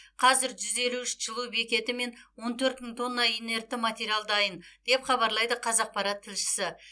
қазір жүз елу үш жылыту бекеті мен он төрт мың тонна инертті материал дайын деп хабарлайды қазақпарат тілшісі